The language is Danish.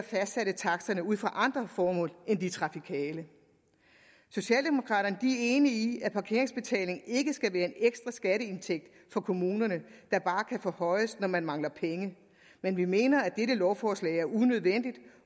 fastsatte taksterne ud fra andre formål end de trafikale socialdemokraterne er enige i at parkeringsbetalingen ikke skal være en ekstra skatteindtægt for kommunerne der bare kan forhøjes når man mangler penge men vi mener at dette lovforslag er unødvendigt